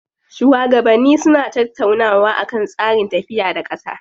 Shuwagabanni suna tattaunawa akan tsarin tafiya da ƙasa.